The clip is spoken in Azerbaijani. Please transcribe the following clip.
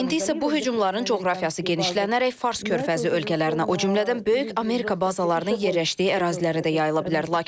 İndi isə bu hücumların coğrafiyası genişlənərək Fars körfəzi ölkələrinə, o cümlədən böyük Amerika bazalarının yerləşdiyi ərazilərə də yayila bilər.